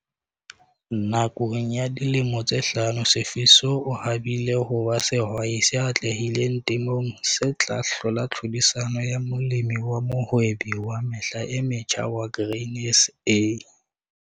Nakong ya dilemo tse hlano Sifiso o habile ho ba sehwai se atlehileng temong se tla hlola tlhodisanong ya Molemi wa Mohwebi wa Mehla e Metjha wa Grain SA.